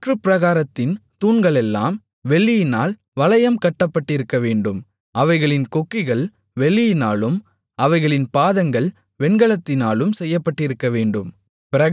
சுற்று பிராகாரத்தின் தூண்களெல்லாம் வெள்ளியினால் வளையம் கட்டப்பட்டிருக்கவேண்டும் அவைகளின் கொக்கிகள் வெள்ளியினாலும் அவைகளின் பாதங்கள் வெண்கலத்தினாலும் செய்யப்பட்டிருக்கவேண்டும்